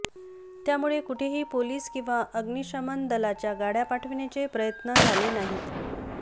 त्यामुळे कुठेही पोलिस किंवा अग्निशमन दलाच्या गाड्या पाठवण्याचे प्रयत्न झाले नाहीत